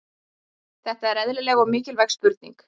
Þetta er eðlileg og mikilvæg spurning.